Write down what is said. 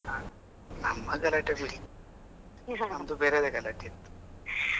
ನಮ್ಮ ಗಲಾಟೆ ಬಿಡಿ ತಮ್ದು ಬೇರೆದೆ ಗಲಾಟೆ ಇತ್ತು.